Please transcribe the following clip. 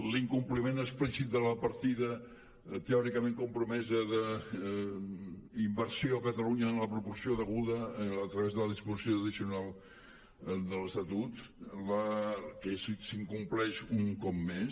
l’incompliment explícit de la partida teòricament compromesa d’inversió a catalunya en la proporció deguda a través de la disposició addicional de l’estatut que s’incompleix un cop més